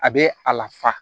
A bɛ a la fa